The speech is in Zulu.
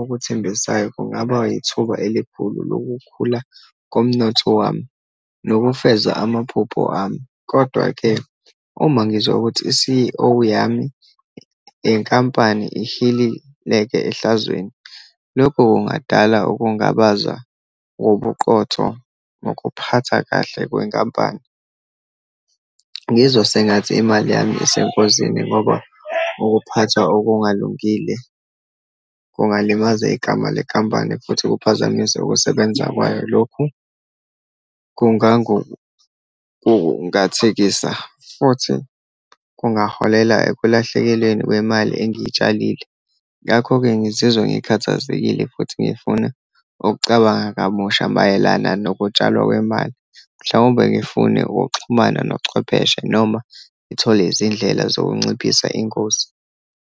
okuthembisayo kungaba yithuba elikhulu lokukhula komnotho wami, nokufeza amaphupho ami. Kodwa-ke uma ngizwa ukuthi i-C_E_O yami yenkampani ihilileke ehlazweni, lokho kungadala ukungabaza wobuqotho ngokuphatha kahle kwenkampani. Ngizwa sengathi imali yami isengozini, ngoba ukuphathwa okungalungile kungalimaza igama lekhampani, futhi kuphazamise ukusebenza kwayo. Lokhu kungangokungathekisa, futhi kungaholela ekulahlekelweni kwemali engiyitshalile. Ngakho-ke, ngizizwa ngikhathazekile futhi ngifuna ukucabanga kabusha mayelana nokutshalwa kwemali, mhlawumbe ngifune ukuxhumana nochwepheshe, noma ngithole izindlela zokunciphisa ingozi.